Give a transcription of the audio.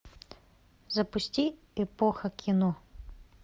запусти эпоха кино